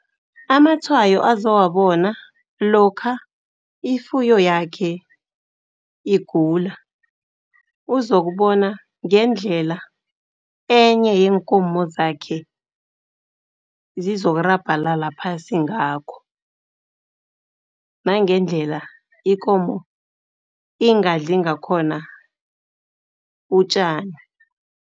Amatshwayo azowabona lokha ifuyo yakhe igula, uzokubona ngendlela enye yeenkomo zakhe zizokurabhalala phasi ngakho, nangendlela ikomo ingadli ngakhona utjani.